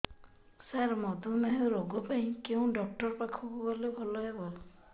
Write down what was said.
ସାର ମଧୁମେହ ରୋଗ ପାଇଁ କେଉଁ ଡକ୍ଟର ପାଖକୁ ଗଲେ ଭଲ ହେବ